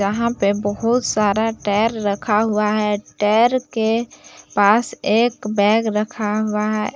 यहां पे बहुत सारा टैर रखा हुआ है टैर के पास एक बैग रखा हुआ है।